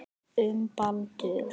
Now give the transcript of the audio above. Um Baldur.